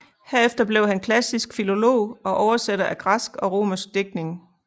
Herefter blev han klassisk filolog og oversætter af græsk og romersk digtning